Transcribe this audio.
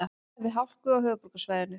Varað við hálku á höfuðborgarsvæðinu